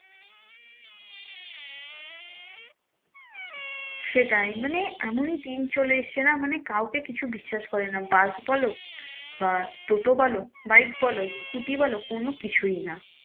সেটাই মানে এমনই দিন চলে এসেছে না মানে কাউ কে কিছু বিশ্বাস করে না bus বলো বা টোটো বলো bike বলো scooter বলো কোনো কিছুই না।